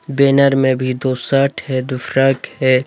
Banner में भी दो शर्ट है दो फ्रॉक है।